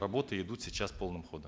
работы идут сейчас полным ходом